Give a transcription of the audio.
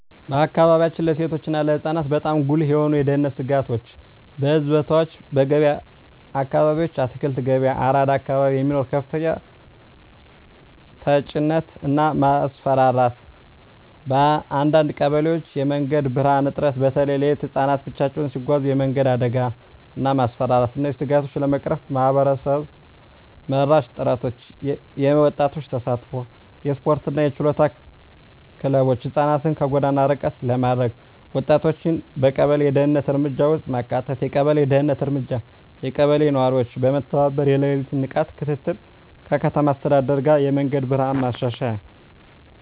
በአካባቢያችን ለሴቶች እና ለህፃናት በጣም ጉልህ የሆኑ የደህንነት ስጋቶች :- በሕዝብ ቦታዎች *በገበያ አካባቢዎች (አትክልት ገበያ፣ አራዳ አካባቢ) የሚኖር ከፍተኛ ተጭነት እና ማስፈራራት *በአንዳንድ ቀበሌዎች የመንገድ ብርሃን እጥረት (በተለይ ሌሊት) *ህፃናት ብቻቸውን ሲጓዙ የመንገድ አደጋ እና ማስፈራራት እነዚህን ስጋቶች ለመቅረፍ ማህበረሰብ መራሽ ጥረቶች :- የወጣቶች ተሳትፎ *የስፖርትና የችሎታ ክለቦች (ህፃናትን ከጎዳና ርቀት ለማድረግ) *ወጣቶችን በቀበሌ የደህንነት እርምጃ ውስጥ ማካተት የቀበሌ ደህንነት እርምጃ *የቀበሌ ነዋሪዎች በመተባበር የሌሊት ንቃት ክትትል *ከከተማ አስተዳደር ጋር የመንገድ ብርሃን ማሻሻያ